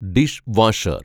dish washer‍